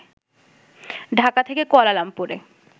ঢাকা থেকে কুয়ালালামপুরে